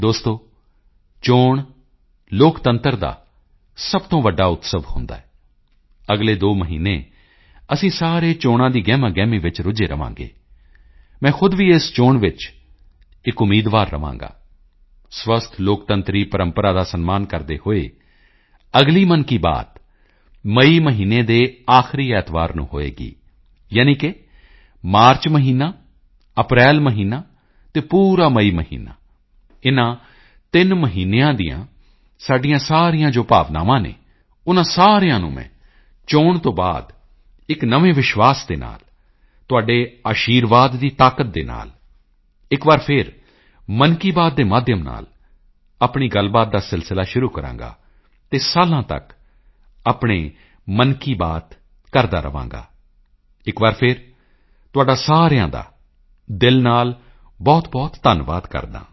ਦੋਸਤੋ ਚੋਣ ਲੋਕਤੰਤਰ ਦਾ ਸਭ ਤੋਂ ਵੱਡਾ ਉਤਸਵ ਹੁੰਦਾ ਹੈ ਅਗਲੇ ਦੋ ਮਹੀਨੇ ਅਸੀਂ ਸਾਰੇ ਚੋਣਾਂ ਦੀ ਗਹਿਮਾਗਹਿਮੀ ਵਿੱਚ ਰੁੱਝੇ ਰਹਾਂਗੇ ਮੈਂ ਖੁਦ ਵੀ ਇਸ ਚੋਣ ਵਿੱਚ ਇੱਕ ਉਮੀਦਵਾਰ ਰਹਾਂਗਾ ਸਵਸਥ ਲੋਕਤੰਤਰੀ ਪ੍ਰੰਪਰਾ ਦਾ ਸਨਮਾਨ ਕਰਦੇ ਹੋਏ ਅਗਲੀ ਮਨ ਕੀ ਬਾਤ ਮਈ ਮਹੀਨੇ ਦੇ ਆਖਰੀ ਐਤਵਾਰ ਨੂੰ ਹੋਵੇਗੀ ਯਾਨੀ ਕਿ ਮਾਰਚ ਮਹੀਨਾ ਅਪ੍ਰੈਲ ਮਹੀਨਾ ਅਤੇ ਪੂਰਾ ਮਈ ਮਹੀਨਾ ਇਨ੍ਹਾਂ ਤਿੰਨ ਮਹੀਨਿਆਂ ਦੀਆਂ ਸਾਡੀਆਂ ਸਾਰੀਆਂ ਜੋ ਭਾਵਨਾਵਾਂ ਹਨ ਉਨ੍ਹਾਂ ਸਾਰਿਆਂ ਨੂੰ ਮੈਂ ਚੋਣ ਤੋਂ ਬਾਅਦ ਇੱਕ ਨਵੇਂ ਵਿਸ਼ਵਾਸ ਦੇ ਨਾਲ ਤੁਹਾਡੇ ਅਸ਼ੀਰਵਾਦ ਦੀ ਤਾਕਤ ਨਾਲ ਫਿਰ ਇੱਕ ਵਾਰ ਮਨ ਕੀ ਬਾਤ ਦੇ ਮਾਧਿਅਮ ਨਾਲ ਆਪਣੀ ਗੱਲਬਾਤ ਦਾ ਸਿਲਸਿਲਾ ਸ਼ੁਰੂ ਕਰਾਂਗਾ ਅਤੇ ਸਾਲਾਂ ਤੱਕ ਆਪਣੇ ਮਨ ਕੀ ਬਾਤ ਕਰਦਾ ਰਹਾਂਗਾ ਇੱਕ ਵਾਰ ਫਿਰ ਤੁਹਾਡਾ ਸਾਰਿਆਂ ਦਾ ਹਿਰਦੇ ਤੋਂ ਬਹੁਤਬਹੁਤ ਧੰਨਵਾਦ ਕਰਦਾ ਹਾਂ